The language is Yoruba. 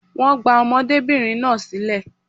Wọ́n gba ọmọdébìnrin náà sílẹ̀